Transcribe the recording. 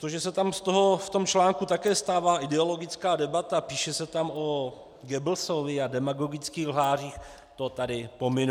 To, že se tam z toho v tom článku také stává ideologická debata, píše se tam o Goebbelsovi a demagogických lhářích, to tady pominu.